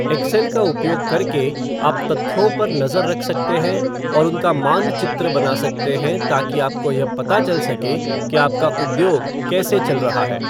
Excel का उपयोग करके, आप तथ्यों पर नजर रख सकते हैं और उनका मानचित्र बना सकते हैं ताकि आपको यह पता चल सके कि आपका उद्योग कैसे चल रहा है।